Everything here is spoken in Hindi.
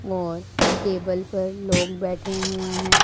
और टेबल पर लोग बैठे हुए हैं।